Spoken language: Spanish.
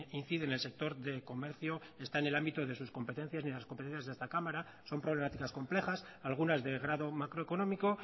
incide en el sector de comercio está en el ámbito de sus competencias ni en las competencias de esta cámara son problemáticas complejas algunas de grado macroeconómico